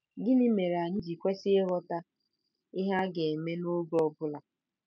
Gịnị mere anyị ji kwesị ịghọta ihe a ga-eme n’oge ọ bụla?